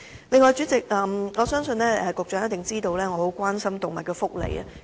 此外，主席，我相信局長一定知道我十分關心動物福利。